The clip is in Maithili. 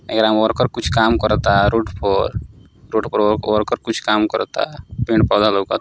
हेकरा में वर्कर कुछ काम करता रोड पर रोड पर वर्कर कुछ काम करता पेड़ पौधा लउकत --